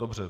Dobře.